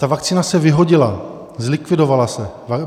Ta vakcína se vyhodila, zlikvidovala se.